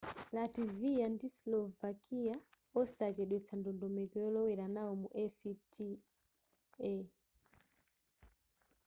latvia ndi slovakia onse achedwetsa ndondomeko yolowera nawo mu acta